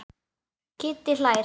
Kiddi hlær.